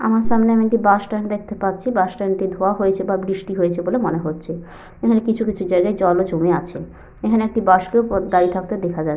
আমার সামনে আমি একটি বাস স্ট্যান্ড দেখতে পাচ্ছি। বাস স্ট্যান্ড ধোয়া হয়েছে বা বৃষ্টি হয়েছে বলে মনে হচ্ছে। এখানে কিছু কিছু জায়গায় জলও জমে আছে। এখানে একটি বাস কেও দাঁড়িয়ে থাকতে দেখা যাচ্ছে।